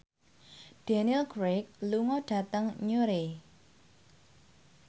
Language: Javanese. Daniel Craig lunga dhateng Newry